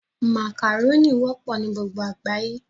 Màkàrónì wọ́pọ̀ ní gbogbo àgbáyé